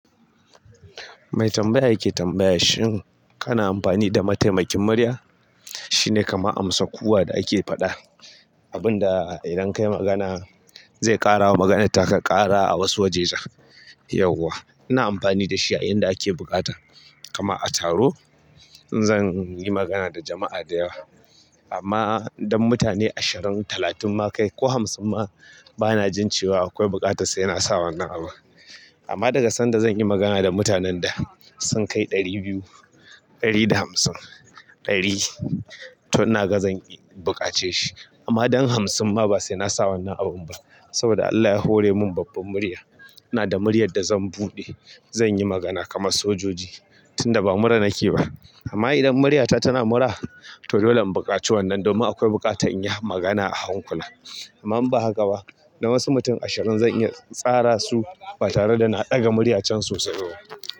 Mai tambaya yake tambaya, shin kana amfani da mataimakin murya? Shine kama amsa, kuwa da ake faɗa. Abun da idan kai magana zai ƙara wa magana taka ƙara a wasu wajejen. Yauwa ina amfani da shi a inda ake buƙata. Kama a taro in zan yi magana da jama'a da yawa. Amma don mutane ashirin, talatin ma kai ko hamsin ma bana jin cewa akwai buƙata sai na sa wannan abun. Amma daga sanda zan yi magana da mutanen da sun kai ɗari biyu, ɗari da hamsin, ɗari to ina ga zan buƙace shi. Amma don hamsin ma ba se na sa wannan abun ba. Saboda Allah ya hore mun babban murya. Ina da muryar da zan buɗe, zan yi magana kama sojoji tun da ba mura nake ba. Amma idan muryata tana mura, to dole in buƙaci wannan domin akwai buƙatan in yi magana a hankula. Amma in ba haka ba. Dan wasu mutum ashirin zan iya tsara su ba tare da na ɗaga murya cen sosai ba.